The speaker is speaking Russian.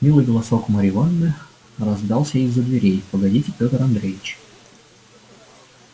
милый голосок марьи ивановны раздался из-за дверей погодите пётр андреич